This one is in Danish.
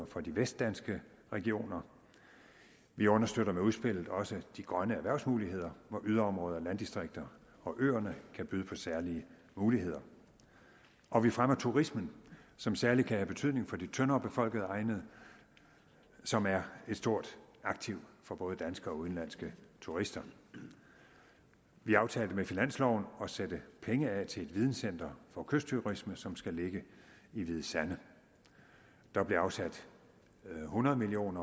for de vestdanske regioner vi understøtter med udspillet også de grønne erhvervsmuligheder hvor yderområderne landdistrikterne og øerne kan byde på særlige muligheder og vi fremmer turismen som særlig kan have betydning for de tyndere befolkede egne som er et stort aktiv for både danske og udenlandske turister vi aftalte med finansloven at sætte penge af til et videncenter for kystturisme som skal ligge i hvide sande der blev afsat hundrede million